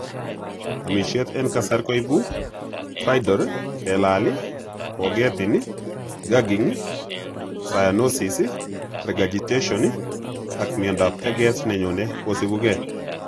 Omisyet en kasar koipu stridor, kelal iih, kogetin iih, gagging, cyanosis, regurgitation, ak Miondap teget nenyone kosipuge.